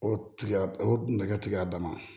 O tigɛ o nɛgɛ tiga dama